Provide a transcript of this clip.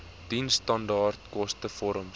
diensstandaard koste vorms